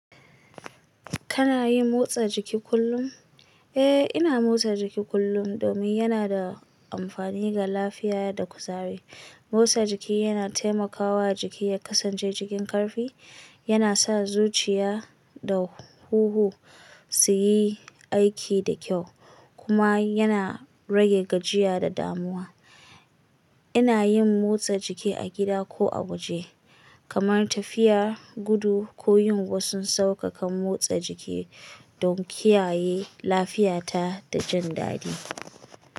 Kana yin motsa jiki kullum? Eh, ina motsa jiki kullum domin yana da amfani ga lafiya da kuzari. Motsa jiki yana taimakawa jiki ya kasance cikin karfi, yana sa zuciya da hunhu su yi aiki da kyau kuma yana rage gajiya da damuwa. Ina yin motsa jiki a gida ko a waje, kamar tafiya, gudu ko yin wasu saukakan motsa jiki don kiyaye lafiyata da jin daɗi.